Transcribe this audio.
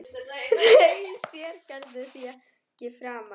Þau sér Gerður því ekki framar.